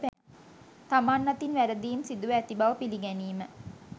තමන් අතින් වැරදීම් සිදුව ඇති බව පිළිගැනීම